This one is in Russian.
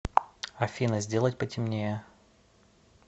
афина сделать потемнее